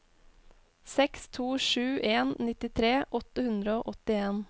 seks to sju en nittitre åtte hundre og åttien